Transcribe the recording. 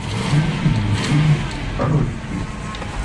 включи мне фильм рокки